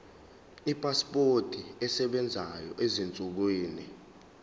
ipasipoti esebenzayo ezinsukwini